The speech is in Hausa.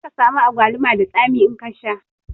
Zaka samu agwaluma da tsami in ka sha